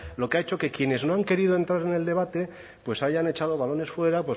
lo que ha hecho que quienes no han querido entrar en el debate pues hayan echado balones fuera